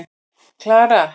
Klara